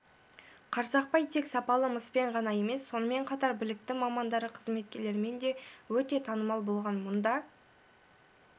қарсақпай тек сапалы мыспен ғана емес сонымен қатар білікті мамандары қызметкерлерімен де өте танымал болған мұнда